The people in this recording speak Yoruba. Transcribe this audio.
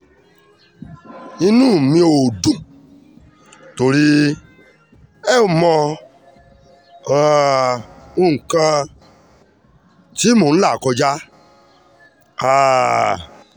inú mi ò dùn nítorí ẹ ò mọ um nǹkan tí mò ń là kọjá um